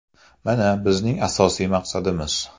Mana, bizning asosiy maqsadimiz.